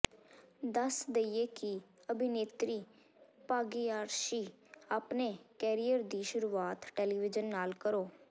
ਦੱਸ ਦੇਈਏ ਕਿ ਅਭਿਨੇਤਰੀ ਭਾਗਿਆਸ਼੍ਰੀ ਆਪਣੇ ਕੈਰੀਅਰ ਦੀ ਸ਼ੁਰੂਆਤ ਟੈਲੀਵਿਜ਼ਨ ਨਾਲ ਕਰੋ